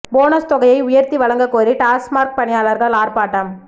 bonus தொகையை உயர்த்தி வழங்கக் கோரி டாஸ்மாக் பணியாளர்கள் ஆர்ப்பாட்டம்